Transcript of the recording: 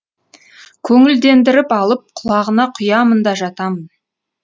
көңілдендіріп алып құлағына құямын да жатамын